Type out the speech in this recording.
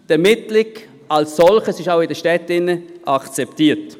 Die Ermittlung als solches ist auch in den Städten akzeptiert.